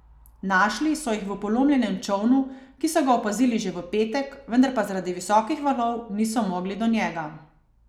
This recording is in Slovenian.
Našli so jih v polomljenem čolnu, ki so ga opazili že v petek, vendar pa zaradi visokih valov niso mogli do njega.